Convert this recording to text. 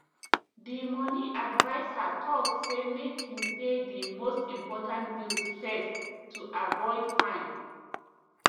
di money adviser talk say make you pay di most important bills first to avoid fine